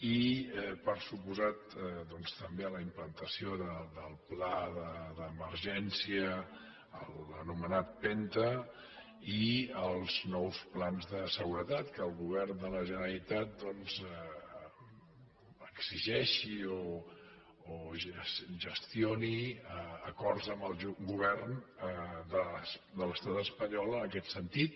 i per descomptat també a la implantació del pla d’emergència l’anomenat penta i als nous plans de seguretat que el govern de la generalitat exigeixi o gestioni acords amb el govern de l’estat espanyol en aquest sentit